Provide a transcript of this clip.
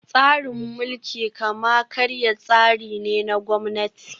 Tsarin mulkin kama karya tsari ne na Gwamnati